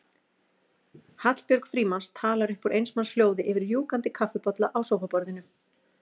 Hallbjörg Frímanns talar upp úr eins manns hljóði yfir rjúkandi kaffibolla á sófaborðinu.